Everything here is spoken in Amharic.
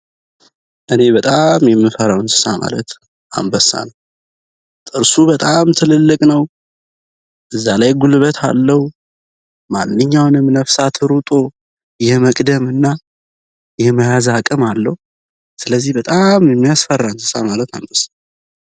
እኔ በጣም የምፈረዉ እንስሳ ማለት አንበሳ ነዉ።። አንበሳ ጥርሱ በጣም ትልልቅ ነዉ። በዛላይ ጉልበት አለዉ ማንኛውም ነፍሳት እሮጦ የመያዝና የመግደል አቅም አለው። ስለዚህ በጣም የሚያስፈራ እንስሳት ማለት አንበሳ ነዉ።